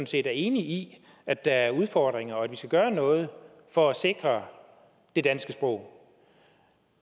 set er enig i at der er udfordringer og at vi skal gøre noget for at sikre det danske sprog